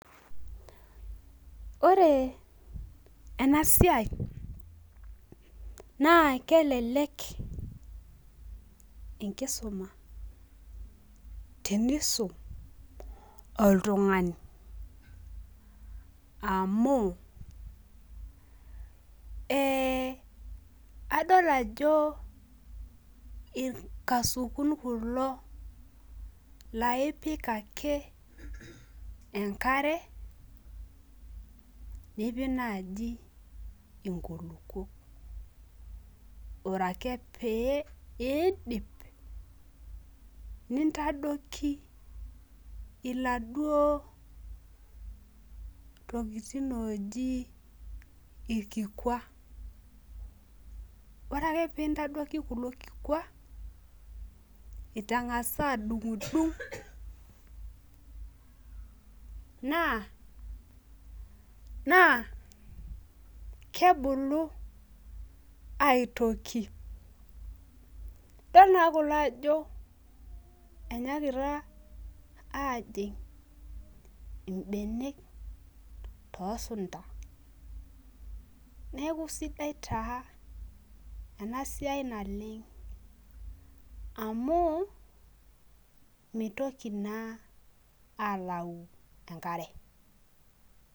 Ore ena siai, naa kelelek enkisuma, tenisum oltungani. amu, ee adol ajo, irkasukun kulo naa ipik ake, enkare. nipik naaji inkulupuok. ore ake pee iidip, nintadoiki iladuoo tokitin ooji ilikikua. ore ake pee intadoiki kulo kikua itangasa adungidung' naa kebulu aitoki. idol naa kulo ajo enyaakita aajing ibenek toosunta. neeku sidai taa ena siai naleng. amu mitoki naa aalau enkare.